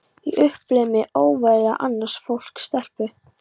Ég upplifði mig óverðuga, annars flokks stelpu.